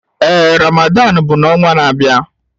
Ee Ramadan bụ n'ọnwa na-abịa.